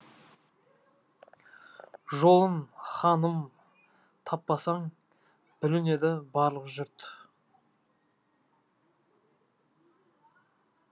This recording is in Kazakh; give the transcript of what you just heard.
жолын ханым таппасаң бүлінеді барлық жұрт